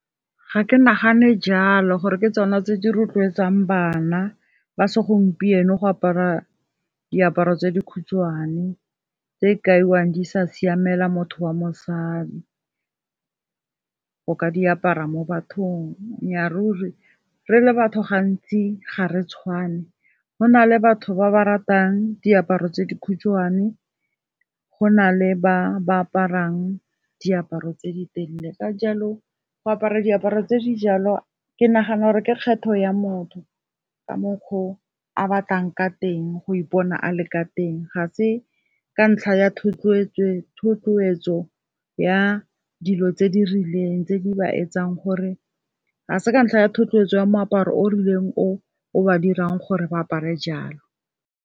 Ga ke nagane jalo gore ke tsona tse di rotloetsang bana ba segompieno go apara diaparo tse dikhutshwane, tse e kaiwang di sa siamela motho wa mosadi, go ka diapara mo bathong. Nnya ruri re le batho gantsi ga re tshwane, gona le batho ba ba ratang diaparo tse dikhutshwane, go na le ba ba aparang diaparo tse di telele, ka jalo go apara diaparo tse dijalo ke nagana gore ke kgetho ya motho ka mokgwa o a batlang ka teng, go ipona a le ka teng. Ga se ka ntlha ya thotloetso ya moaparo o rileng o o ba dirang gore ba apare jalo.